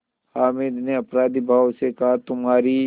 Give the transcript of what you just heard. हामिद ने अपराधीभाव से कहातुम्हारी